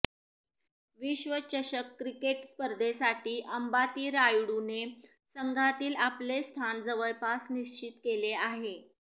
विश्वचषक क्रिकेट स्पर्धेसाठी अंबाती रायडूने संघातील आपले स्थान जवळपास निश्चित केले आहे